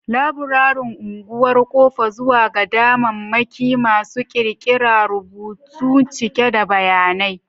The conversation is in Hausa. Laburaren unguwar: ƙofa zuwa ga damammaki masu ƙirƙira, rumbunta cike da bayanai.